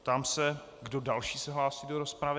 Ptám se, kdo další se hlásí do rozpravy.